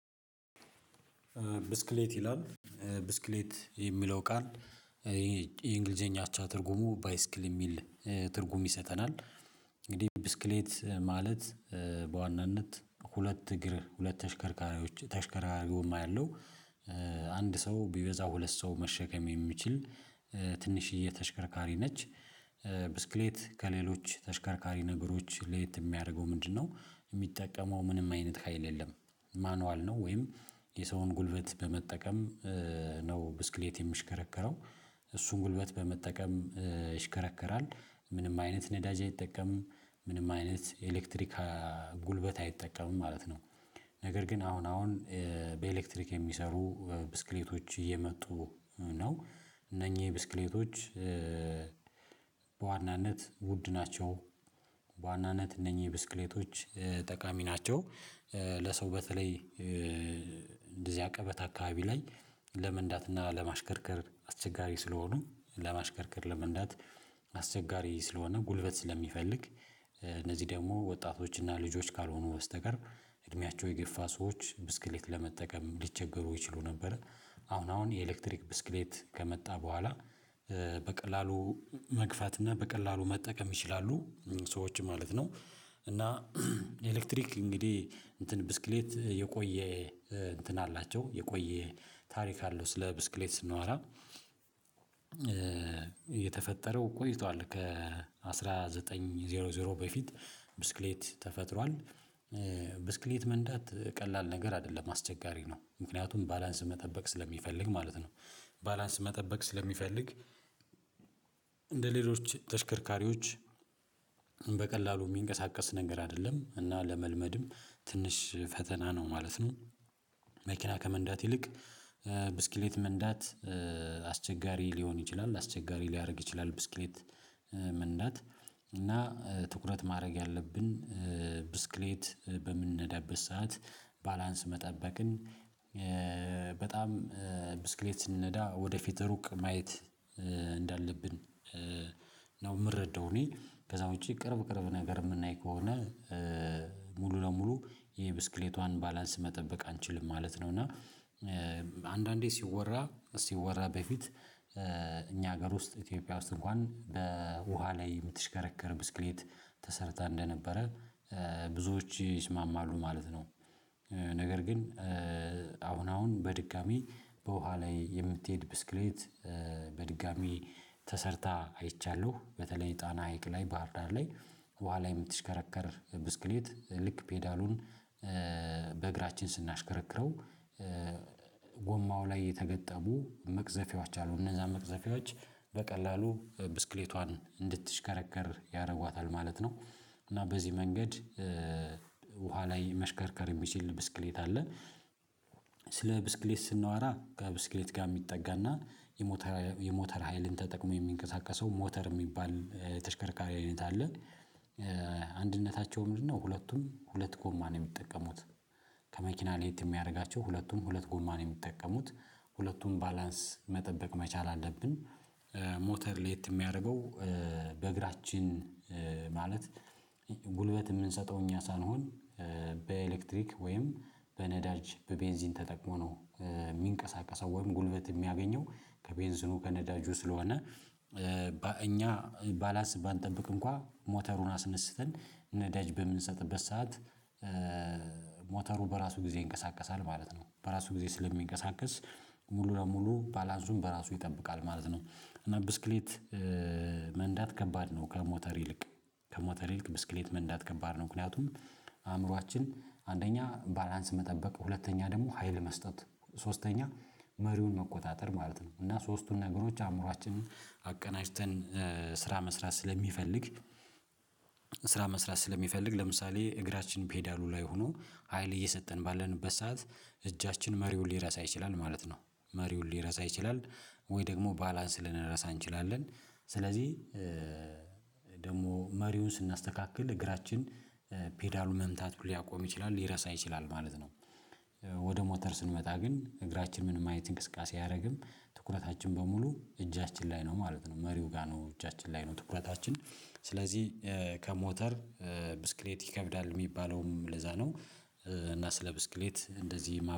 ብስክሌት ይላል ብስክሌት የሚለው ቃል የእንግሊዘኛ አቻ ትርጉሙ ባይስክል የሚል ትርጉም ይሰጠናል። እንግዲህ ብስክሌት ማለት በዋናነት ሁለት እግር ሁለት ተሽከርካሪዎች ተሽከርካሪውም አያለሁ፤ አንድ ሰው ቢበዛም ሁለት ሰው መሸከም የሚችል ትንሽዬ ተሽከርካሪ ነች ብስክሌት ከሌሎች ተሽከርካሪ ነገሮች ለየት የሚያደርገው ምንድነው? የሚጠቀመው ምንም አይነት ሀይል የለም። ማኑዋል ነው ወይም የሰውን ጉልበት በመጠቀም ነው ብስክሌት የሚሽከረከረው እሱን ጉልበት በመጠቀም ይሽከረከራል። ምንም አይነት ነዳጅ አይጠቀምም፤ ምንም አይነት ኤሌክትሪክጉልበት አይጠቀምም ማለት ነው፤። ነገር ግን አሁን አሁን በኤሌክትሪክ የሚሰሩ ብስክሌቶች እየመጡ ነው እነኚህ ብስክሌቶች። በዋናነት ውድ ናቸው፤ በዋናነት እነኚህ ብስክሌቶች ጠቃሚ ናቸው። ለሰው በተለይ እንደዚህ አቀበት አካባቢ ላይ ለመንዳት እና ለማሽከርከር አስቸጋሪ ስለሆኑ ለማሽከርከር ለመንዳት አስቸጋሪ ስለሆነ ጉልበት ስለሚፈልግ እነዚህ ደግሞ ወጣቶችና ልጆች ካልሆኑ በስተቀር እድሜያቸው የገፋ ሰዎች ብስክሌት ለመጠቀም ሊቸገሩ ይችሉ ነበረ። አሁን አሁን የኤሌክትሪክ ብስክሌት ከመጣ በኋላ በቀላሉ መግፋት እና በቀላሉ መጠቀም ይችላሉ ሰዎች ማለት ነው፤። እና ኤሌክትሪክ እንግዲህ እንትን ብስክሌት የቆየ እንትን አላቸው የቆየ ታሪክ አለው ስለ ብስክሌት ስናወራ የተፈጠረው ቆይቷል ከአስራ ዘጠኝ በፊት ብስክሌት ተፈጥሯል። ብስክሌት መንዳት ቀላል ነገር አይደለም አስቸጋሪ ነው ምክንያቱም ባላንስ መጠበቅ ስለሚፈልግ ማለት ነው። ባላንስ መጠበቅ ስለሚፈልግ እንደሌሎች ተሽከርካሪዎች በቀላሉ የሚንቀሳቀስ ነገር አይደለም እና ለመልመድም ትንሽ ፈተና ነው ማለት ነው። መኪና ከመንዳት ይልቅ ብስክሌት መንዳት አስቸጋሪ ሊሆን ይችላል፤። አስቸጋሪ ሊያደርግ ይችላል ብስክሌት መንዳት እና ትኩረት ማድረግ ያለብን ብስክሌት በምንነዳበት ሰዓት ባላንስ መጠበቅን በጣም ብስክሌት ስንነዳ ወደፊት ሩቅ ማየት እንዳለብን ነው የምረደው እኔ ከዛ ውጪ ቅርብ ቅርብ ነገር የምናይ ከሆነ። ሙሉ ለሙሉ የብስክሌቷን ባላንስ መጠበቅ አንችልም ማለት ነው እና አንዳንዴ ሲወራ ሲወራ በፊት እኛ ሀገር ውስጥ ኢትዮጵያ ውስጥ እንኳን በውሃ ላይ የምትሽከረከር ብስክሌት ተሰርታ እንደነበረ ብዙዎች ይስማማሉ ማለት ነው። ነገር ግን አሁን አሁን በድጋሚ በውሃ ላይ የምትሄድ ብስክሌት በድጋሚ ተሰርታ አይቻለሁ በተለይ ጣና ሀይቅ ላይ ባህርዳር ላይ በኋላ የምትሽከረከር ብስክሌት ልክ ፔዳሉን በእግራችን ስናሽከረክረው ጎማው ላይ የተገጠቡ መቅዘፊያዎች አሉ እነዛ መቅዘፊያዎች በቀላሉ ብስክሌቷን እንድትሽከረከር ያደርጓታል ማለት ነው። እና በዚህ መንገድ ውሃ ላይ መሽከርከር የሚችል ብስክሌት አለ። ስለ ብስክሌት ስናወራ ከብስክሌት ጋር የሚጠጋና የሞተር የሞተር ሀይልን ተጠቅሞ የሚንቀሳቀሰው ሞተር የሚባል ተሽከርካሪ አይነት አለ። አንድነታቸውም ምንድነው ሁለቱም ሁለት ጎማ ነው የሚጠቀሙት። ከመኪና ለየት የሚያደርጋቸው ሁለቱም ሁለት ጎማ ነው የሚጠቀሙት ሁለቱም ባላንስ መጠበቅ መቻል አለብን ሞተር ሌት የሚያደርገው በእግራችን ማለት ጉልበት የምንሰጠው እኛ ሳንሆን በኤሌክትሪክ ወይም በነዳጅ በቤንዚን ተጠቅሞ ነው። የሚንቀሳቀሰው ወይም ጉልበት የሚያገኘው ከቤንዚኑ ከነዳጁ ስለሆነ እኛ ባላስ ባንጠብቅ እንኳን ሞተሩን አስነስተን ነዳጅ በምንሰጥበት ሰዓት ሞተሩ በራሱ ጊዜ ይንቀሳቀሳል ማለት ነው በራሱ ጊዜ ስለሚንቀሳቀስ ሙሉ ለሙሉ ባላንሱን በራሱ ይጠብቃል ማለት ነው። እና ብስክሌት መንዳት ከባድ ነው ከሞተር ይልቅ ከሞተር ይልቅ ብስክሌት መንዳት ከባድ ነው። ምክንያቱም አእምሮአችን አንደኛ ባላንስ መጠበቅ ሁለተኛ ደግሞ ሀይል መስጠት ሶስተኛ መሪውን መቆጣጠር ማለት ነው እና ሶስቱን ነገሮች አእምሯችንን አቀናጅተን ስራ መስራት ስለሚፈልግ ስራ መስራት ስለሚፈልግ ለምሳሌ እግራችን ፔዳሉ ላይ ሆኖ ሀይል እየሰጠን ባለንበት ሰዓት እጃችን መሪውን ሊረሳ ይችላል ማለት ነው። መሪውን ሊረሳ ይችላል ወይ ደግሞ ባላንስ ልንረሳ እንችላለን ስለዚህ ደግሞ መሪውን ስናስተካክል እግራችን ፔዳሉን መምታት ሊያቆም ይችላል ሊረሳ ይችላል ማለት ነው፤። ወደ ሞተር ስንመጣ ግን እግራችን ምን ማየት እንቅስቃሴ አያደርግም ትኩረታችን በሙሉ እጃችን ላይ ነው ማለት ነው መሪው ጋር ነው እጃችን ላይ ነው ትኩረታችን፤። ስለዚህ ከሞተር ብስክሌት ይከብዳል የሚባለውም ለዛ ነው። እና ስለ ብስክሌት እንደዚህ